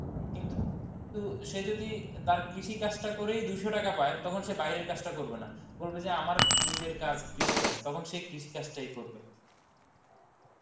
কিন্তু সে যদি তার কৃষিকাজটা করেই দুশো টাকা পায়, তখন সে বাইরের কাজটা করবে না. বলবে যে আমার নিজের কাজ কৃষিকাজ তখন সে কৃষিকাজ টাই করবে